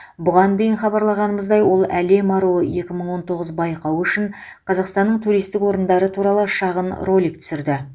бұған дейін хабарлағанымыздай ол әлем аруы екі мың он тоғыз байқауы үшін қазақстанның туристік орындары туралы шағын ролик түсірді